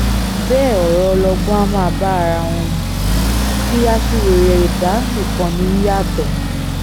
bẹ́ẹ̀ ọ̀rọ̀ ọlọgbọ́n á máa bá ara wọn mu tí aṣiwèrè ẹ̀dá nìkan ní í yàtọ̀